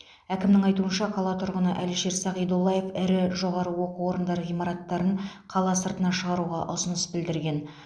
әкімнің айтуынша қала тұрғыны әлішер сағидоллаев ірі жоғары оқу орындары ғимараттарын қала сыртына шығаруға ұсыныс білдірген